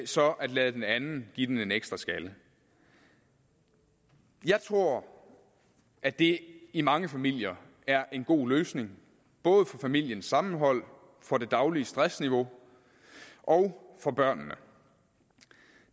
så at lade den anden give den en ekstra skalle jeg tror at det i mange familier er en god løsning både for familiens sammenhold for det daglige stressniveau og for børnene